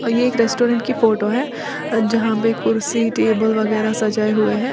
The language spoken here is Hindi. एक रेस्टोरेंट की फोटो है जहां पे कुर्सी टेबल वगैरह सजाए हुए हैं।